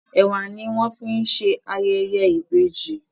Ẹ̀wà ni wọ́n fi ń ṣe ayẹyẹ ìbejì